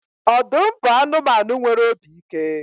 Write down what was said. Ọdụm bụ anụmanụ nwere obi ike